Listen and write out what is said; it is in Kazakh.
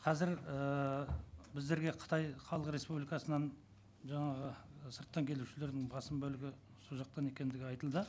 қазір ыыы біздерге қытай халық республикасынан жаңағы сырттан келушілердің басым бөлігі сол жақтан екендігі айтылды